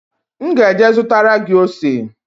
M ga-eje zụtara gị ose